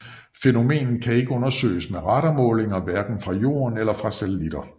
Fænomenet kan ikke undersøges med radarmålinger hverken fra Jorden eller fra satellitter